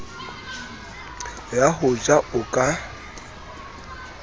ya ho ja o ka